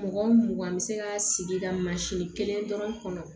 Mugan mugan bɛ se ka sigi ka mansin kelen dɔrɔn kɔnɔ